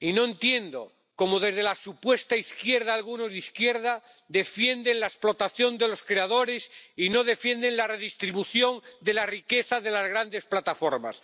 y no entiendo cómo, desde la supuesta izquierda, algunos de izquierda defienden la explotación de los creadores y no defienden la redistribución de la riqueza de las grandes plataformas.